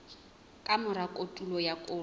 ka mora kotulo ya koro